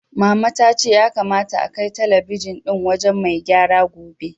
Mama ta ce ya kamata akai talabijin ɗin wajen mai gyara gobe.